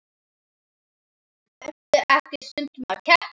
Ertu ekki stundum að keppa?